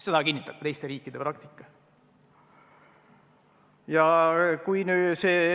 Seda kinnitab teiste riikide praktika.